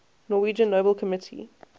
norwegian nobel committee